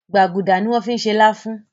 Gbágudá ní wón fí ṣe lafun.